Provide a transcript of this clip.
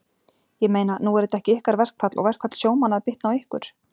Ég meina, nú er þetta ekki ykkar verkfall og verkfall sjómanna að bitna á ykkur?